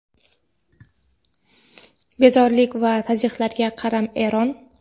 bezorilik va tazyiqlarga qaram – Eron.